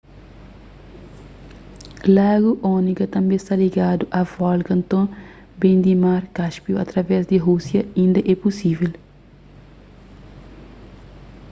lagu onega tanbê sta ligadu a volga nton ben di mar cáspio através di rúsia inda é pusível